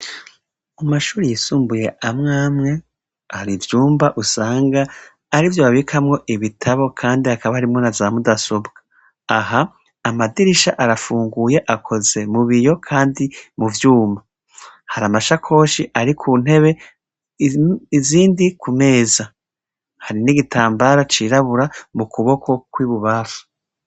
Mu mashuri yisumbuye amwamwe ari ivyumba usanga ari vyo babikamwo ibitabo, kandi akaba arimwo na za mudasobwa aha amadirisha arafunguye akoze mu biyo, kandi mu vyumba hari amasha koshi ari ku ntebe izindi ku meza hari n'igitambara cirabura mu kuboko kw'ibubafa.